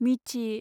मिथि